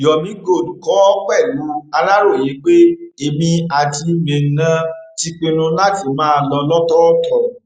yomi gold kọ ọ pẹlú àlàyé pé èmi àtimeinah ti pinnu láti máa lọ lọtọọtọ